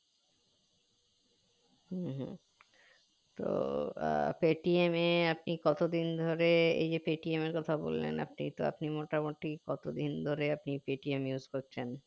হম হম তো আহ Paytm আপনি কত দিন ধরে এই যে Paytm এর কথা বললেন আপনি তো আপনি মোটামুটি কত দিন ধরে আপনি Paytm use করছেন